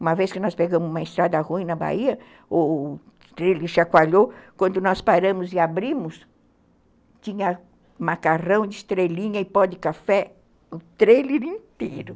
Uma vez que nós pegamos uma estrada ruim na Bahia, o o trailer chacoalhou, quando nós paramos e abrimos, tinha macarrão de estrelinha e pó de café o trailer inteiro.